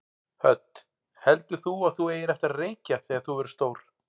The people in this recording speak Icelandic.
Hödd: Heldur þú að þú eigir eftir að reykja þegar þú verður stór?